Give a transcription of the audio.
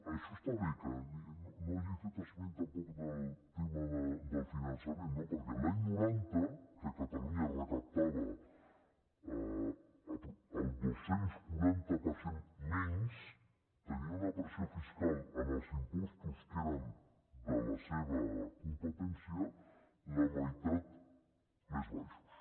això està bé que no hagi fet esment tampoc del tema del finançament no perquè l’any noranta que catalunya recaptava el dos cents i quaranta per cent menys tenia una pressió fiscal en els impostos que eren de la seva competència la meitat més baixos